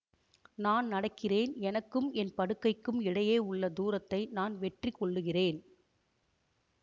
நான் நடக்கிறேன் எனக்கும் என் படுக்கைக்கும் இடையே உள்ள தூரத்தை நான் வெற்றி கொள்ளுகிறேன்